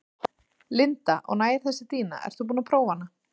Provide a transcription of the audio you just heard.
Linda: Og nægir þessi dýna, ert þú búin að prófa hana?